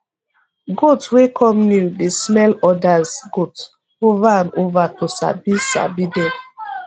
goat wey come new dey smell odas goat ova and ova to sabi sabi dem